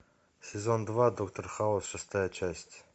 сезон два доктор хаус шестая часть